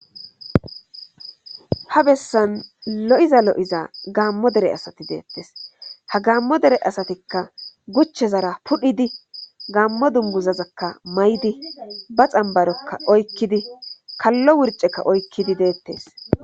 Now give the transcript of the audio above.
Ha bessan lo7iza lo7iza gaammo dare asati deettes ha gaammo dere asatikka guchezara pudhidi gaammo dungguzazakka mayidi ba xambbarokka oykkidi kallo wurcceak oykkidi deettes.